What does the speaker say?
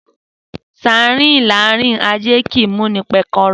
Sarn larin ase ni muni pekero.